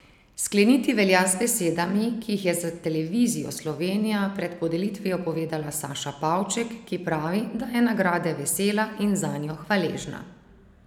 Skleniti velja z besedami, ki jih je za Televizijo Slovenija pred podelitvijo povedala Saša Pavček, ki pravi, da je nagrade vesela in zanjo hvaležna.